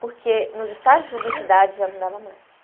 Porque nos estágios de publicidade já não dava mais.